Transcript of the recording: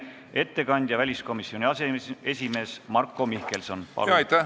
Ettekandja väliskomisjoni aseesimees Marko Mihkelson, palun!